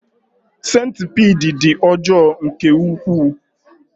Sentipiid dị ọjọọ nke ukwuu.